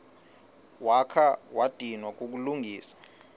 wakha wadinwa kukulungisa